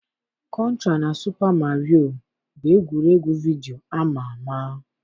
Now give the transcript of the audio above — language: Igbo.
Kọntra na Supa Mario bụ egwuregwu vidiyo ama ama